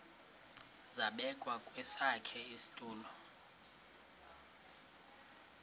zabekwa kwesakhe isitulo